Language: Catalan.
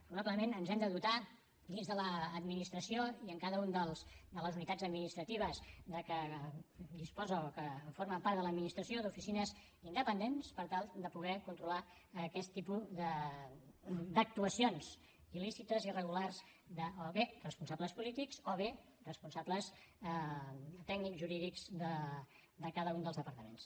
probablement ens hem de dotar dins de l’administració i en cada una de les unitats administratives de què disposa o que formen part de l’administració d’oficines independents per tal de poder controlar aquest tipus d’actuacions il·lícites irregulars o bé de responsables polítics o bé de responsables tècnics jurídics de cada un dels departaments